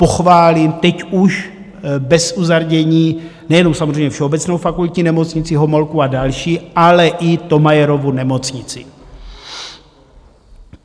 Pochválím teď už bez uzardění nejenom samozřejmě Všeobecnou fakultní nemocnici, Homolku a další, ale i Thomayerovu nemocnici.